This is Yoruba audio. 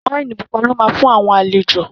Wáìnì pupa lọ́ ma fún àwọn àlejò